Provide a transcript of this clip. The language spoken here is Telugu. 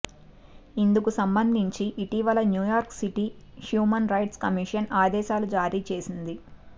ఇందుకు సంబంధించి ఇటీవల New York city human rights commission ఆదేశాలు జారీ చేసింది